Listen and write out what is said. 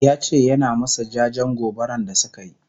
yace yana masu jajen gobaran da sukayi